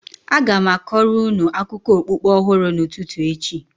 a ga m kọọrọ unu akụkọ okpukpe ọhụrụ n'ụtụtụ echi